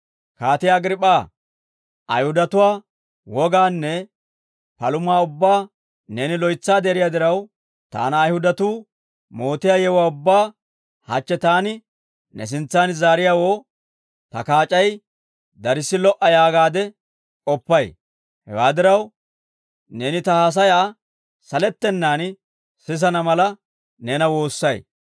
«Kaatiyaa Agriip'p'aa, Ayihudatuwaa wogaanne palumaa ubbaa neeni loytsaade eriyaa diraw, taana Ayihudatuu mootiyaa yewuwaa ubbaa hachche taani ne sintsan zaariyaawoo ta kaac'ay darssi lo"a yaagaade k'oppay; hewaa diraw, neeni ta haasayaa salettenaan sisana mala, neena woossay.